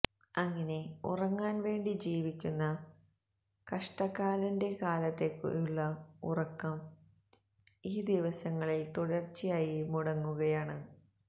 അങ്ങിനെ ഉറങ്ങാന് വേണ്ടി ജീവിക്കുന്ന കഷ്ട്ടകാലന്റെ കാലത്തെയുള്ള ഉറക്കം ഈ ദിവസങ്ങളില് തുടര്ച്ചയായി മുടങ്ങുകയാണ്